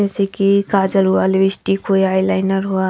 जैसे की काजल हुआ लिपस्टिक होई आईलाइनर हुआ--